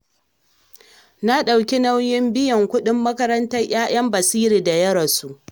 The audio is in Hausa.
Na ɗauki nauyin biyan kuɗin makarantar 'ya'yan Basiru da ya rasu.